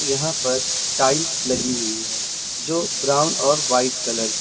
यहां पर टाइल्स लगी हुई है जो ब्राउन और व्हाइट कलर की--